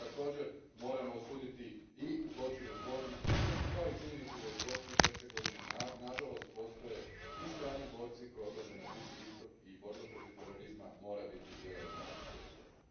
Također, moramo osuditi i zločin u Zvorniku, kao i činjenicu da iz Bosne i Hercegovine nažalost postoje ti strani borci koji odlaze na Bliski istok i borba protiv terorizma mora biti jedan od naših prioriteta.